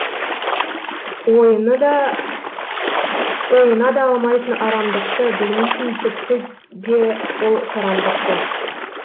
ойына да алмайтын арамдықты білмейтін тіпті де ол сараңдықты